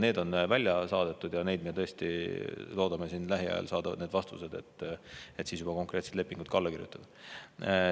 Need on välja saadetud ja me tõesti loodame lähiajal saada vastused, et siis juba konkreetsed lepingud alla kirjutada.